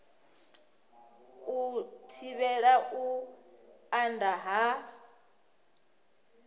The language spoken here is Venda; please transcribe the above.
u thivhela u anda ha